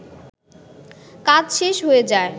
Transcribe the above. কাজ শেষ হয়ে যায়